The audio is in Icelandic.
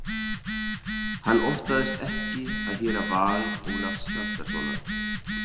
Hann óttaðist ekki að heyra val Ólafs Hjaltasonar.